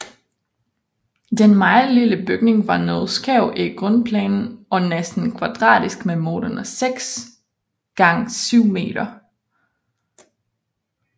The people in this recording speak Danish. Den meget lille bygning var noget skæv i grundplanen og næsten kvadratisk med målene 6 x 7 m